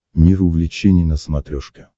мир увлечений на смотрешке